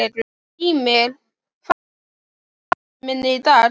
Gýmir, hvað er á áætluninni minni í dag?